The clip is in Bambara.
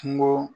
Kungo